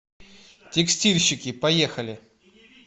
текстильщики поехали